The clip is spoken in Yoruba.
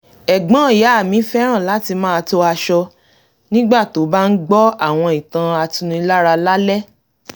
ẹ̀gbọ́n ìyá mi fẹ́ràn láti máa to aṣọ nígbà tó bá ń gbọ́ àwọn ìtàn atunilára lálẹ́